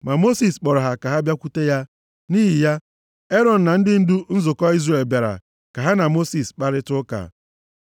Ma Mosis kpọrọ ha ka ha bịakwute ya. Nʼihi ya, Erọn na ndị ndu nzukọ Izrel bịara ka ha na Mosis kparịtaa ụka.